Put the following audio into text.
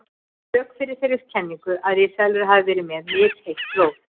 Rök fyrir þeirri kenningu að risaeðlur hafi verið með misheitt blóð.